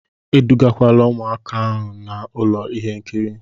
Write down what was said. Edugakwala ụmụaka gaa ụlọ ihe nkiri!